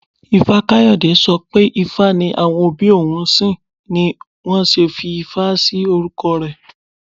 Ifá-Kayode sọ pé ifá ni àwọn òbí òun ń sìn ni wón ṣe fi Ifá sí orúkọ rẹ̀.